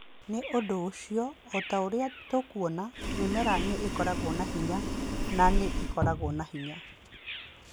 Nĩ ũndũ ũcio, o ta ũrĩa tũkuona, mĩmera nĩ ĩkoragwo na hinya na nĩ ĩkoragwo na hinya.